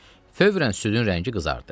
Fövərən südün rəngi qızardı.